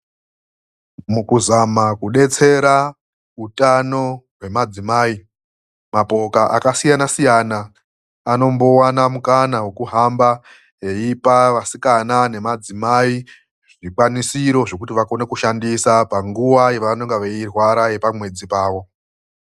Mukuzama kudetsera utano hwemadzimai, mapoka akasiyana siyana anombowana mukana wekuhamba eipa vasikana nemadzimai zvikwanisiro zvekuti vakone kushandisa panguwa yavanenge veirwara yepamwedzi pavo.